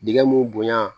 Dingɛ mun bonya